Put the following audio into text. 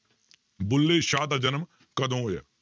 ਬੁੱਲੇ ਸ਼ਾਹ ਦਾ ਜਨਮ ਕਦੋਂ ਹੋਇਆ?